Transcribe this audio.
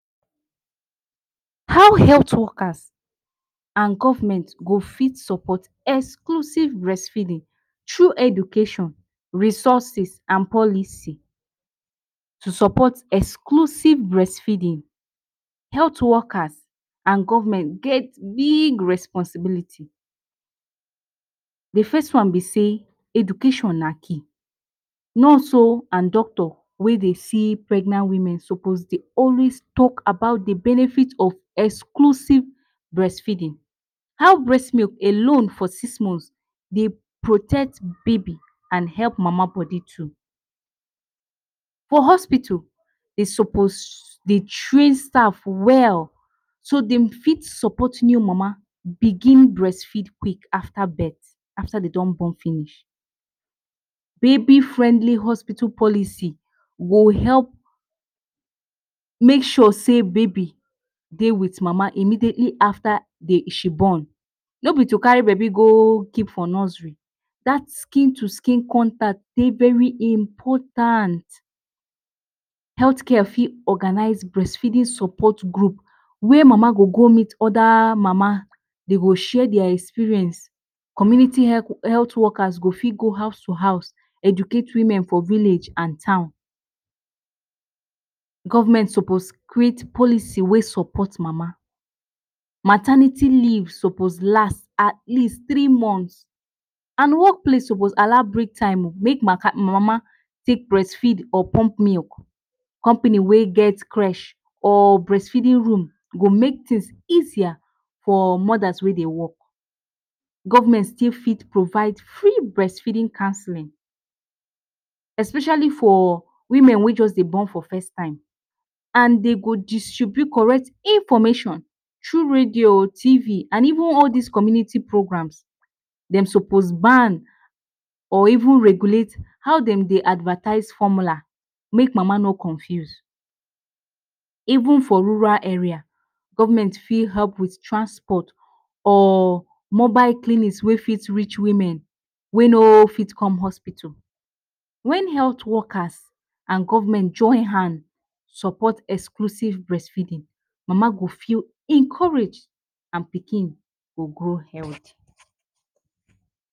How health workers and government go fit support exclusive breastfeeding through education, resources, and policy? To support exclusive breastfeeding, health workers and government get big responsibility. The first one be say education na key, nurse o and doctor wey dey see pregnant women suppose dey always talk about de benefit of exclusive breastfeeding. How breast milk alone for six months dey protect baby and help mama body too. For hospital dey suppose dey train staff well so dem fit support new mama begin breastfeed quick after birth, after dem don born finish. Baby friendly hospital policy go help make sure sey baby dey with mama immediately after dey she born. No be to carry baby go keep for nursery dat skin to skin contact dey very important. Health care fit organize breastfeeding support group wey mama go go meet other mama dey go share their experience, community health workers go fit go house to house educate women for village and town. Government suppose create policy wey support mama, maternity leave suppose last at least three months, and work place suppose allow break time make mama take breastfeed or bump milk. Company wey get creche or breastfeeding room go make things easier for mothers wey dey work. Government still fit provide free breastfeeding counselling especially for women wey just dey born for first time, and dey go distribute correct information through radio o, tv, and even all these community programmes. Dem suppose ban or even regulate how dem dey advertise formula make mama no confuse. Even for rural area, government fit help with transport or mobile clinics wey fit reach women wey no fit come hospital. Wen health workers and government join hands support exclusive breastfeeding, mama go feel encouraged and pikin go grow healthy.